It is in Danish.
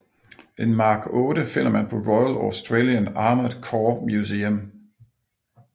En Mark VIII finder man på Royal Australian Armoured Corps Museum